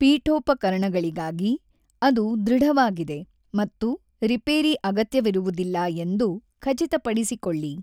ಪೀಠೋಪಕರಣಗಳಿಗಾಗಿ, ಅದು ದೃಢವಾಗಿದೆ ಮತ್ತು ರಿಪೇರಿ ಅಗತ್ಯವಿರುವುದಿಲ್ಲ ಎಂದು ಖಚಿತಪಡಿಸಿಕೊಳ್ಳಿ.